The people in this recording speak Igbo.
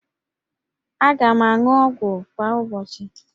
Aga m aṅụ ọgwụ kwa ụbọchị